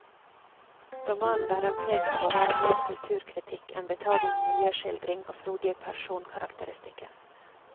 Romanen bærer preg av å være mer kulturkritikk enn betagende miljøskildring og frodige personkarakteristikker.